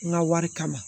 N ka wari kama